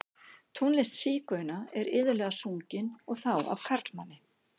Tónlist sígauna er iðulega sungin, og þá af karlmanni.